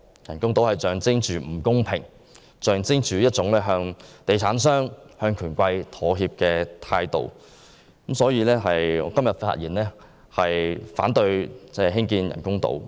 人工島象徵着不公平，象徵着向地產商和權貴妥協的態度，所以我發言反對興建人工島。